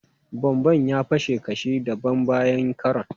Bomban ya fashe kashi dabam bayan karon.